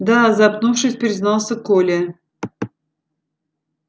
да запнувшись признался коля